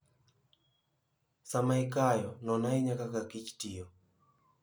Sama ikayo, non ahinya kaka kich tiyo.